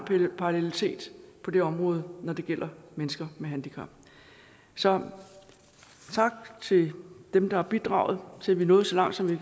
parallelitet på det område når det gælder mennesker med handicap så tak til dem der har bidraget til at vi er nået så langt som vi